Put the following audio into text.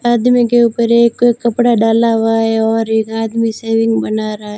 आदमी के ऊपर एक कपड़ा डाला हुआ है और एक आदमी सेविंग बना रहा--